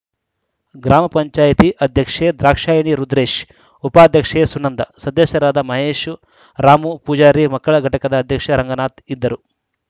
ಗ್ರಾಮ ಪಂಚಾಯತ್ ಅಧ್ಯಕ್ಷೆ ದ್ರಾಕ್ಷಾಯಿಣಿ ರುದ್ರೇಶ್‌ ಉಪಾಧ್ಯಕ್ಷೆ ಸುನಂದ ಸದಸ್ಯರಾದ ಮಹೇಶ್‌ ರಾಮು ಪೂಜಾರಿ ಮಕ್ಕಳ ಘಟಕದ ಅಧ್ಯಕ್ಷ ರಂಗನಾಥ್‌ ಇದ್ದರು